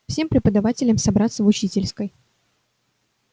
всем преподавателям собраться в учительской